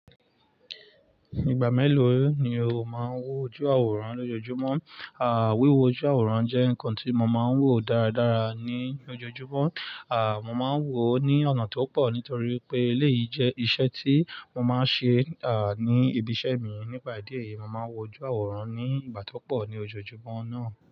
Ìgbà mélòó ni o máa ń wo ojú àwòrán lójoojúmọ́? À, wíwo ojú àwòrán jẹ́ nǹkan tí mo máa ń wò dáradára ní ojoojúmọ́. À, mo máa ń wò ó ní ọ̀nà tó pọ̀ nítorí pé eléyìí jẹ́ iṣẹ́ tí mo máa ń ṣe, à, ní ibi iṣẹ́ mi. Nípa ìdí èyí, mo máa ń wo ojú àwòrán ní ìgbà tó pọ̀ ní ojoojúmọ́ náà.